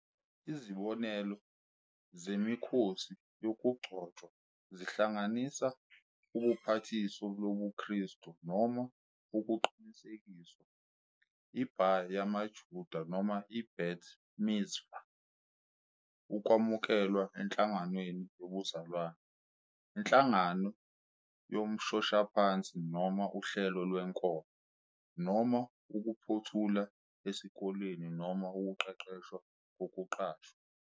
Izibonelo zemikhosi yokugcotshwa zingahlanganisa ubhapathiso lobuKristu noma ukuqinisekiswa, i-bar yamaJuda noma i-bat mitzvah, ukwamukelwa enhlanganweni yobuzalwane, inhlangano yomshoshaphansi noma uhlelo lwenkolo, noma ukuphothula esikoleni noma ukuqeqeshwa kokuqashwa.